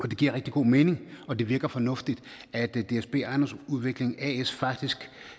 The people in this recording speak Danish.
det giver rigtig god mening og det virker fornuftigt at dsb ejendomsudvikling as faktisk